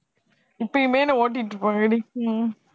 இப்பையுமே என்னை ஓட்டிட்டு இருப்பாங்க இல்லடி